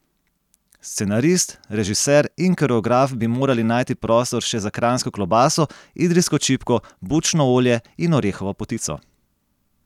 Scenarist, režiser in koreograf bi morali najti prostor še za kranjsko klobaso, idrijsko čipko, bučno olje in orehovo potico.